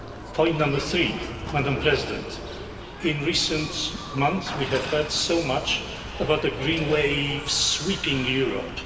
Point number three, Madam President. In recent months we have heard so much about the green wave sweeping Europe.